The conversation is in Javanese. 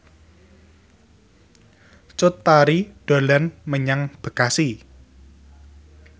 Cut Tari dolan menyang Bekasi